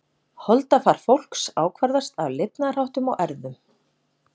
Holdafar fólks ákvarðast af lifnaðarháttum og erfðum.